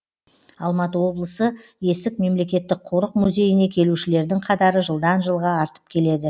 алматы облысы есік мемлекеттік қорық музейіне келушілердің қатары жылдан жылға артып келеді